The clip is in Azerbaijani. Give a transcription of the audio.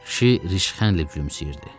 Kişi rışxənlə gülümsəyirdi.